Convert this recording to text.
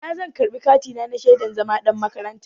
A ina zan karɓi katina na shaidan zama ɗan makaranta?